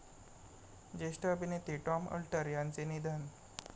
ज्येष्ठ अभिनेते Tom Alter यांचे निधन